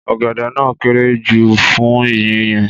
Ọ̀gẹ̀dẹ̀ náà kéré jù fún iye yẹn.